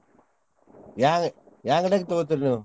ಯಾ~ ಯಾವ್ ಅಂಗಡ್ಯಾಗ್ ತೊಗೋತೀರಿ ನೀವ್?